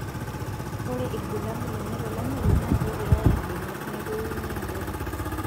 Ore irbulabul lenye tolameyu naa kepiyaya imbenek netoyu iniabori